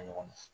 ɲɔgɔn na